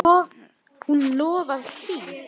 Hún lofar því.